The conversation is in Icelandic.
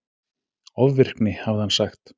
Ofvirkni, hafði hann sagt.